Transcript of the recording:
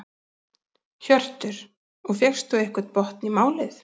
Hjörtur: Og fékkstu einhvern botn í málið?